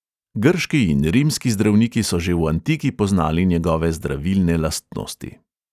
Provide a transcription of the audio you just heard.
Grški in rimski zdravniki so že v antiki poznali njegove zdravilne lastnosti.